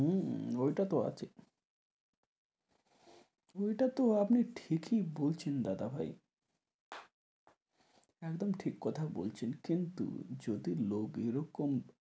হম ঐটা তো আছে। ঐটা তো আপনি ঠিকই বলছে দাদা ভাই, একদম ঠিক কথাই বলছেন। কিন্তু যদি লোক এই রকম।